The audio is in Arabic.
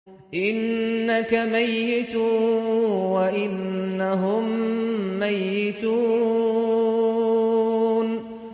إِنَّكَ مَيِّتٌ وَإِنَّهُم مَّيِّتُونَ